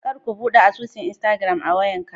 Kar ka bude asusun " instagram" a wayan ka.